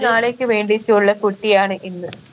നാളെയ്ക്ക് വേണ്ടിയുള്ള കുട്ടിയാണ് ഇന്ന്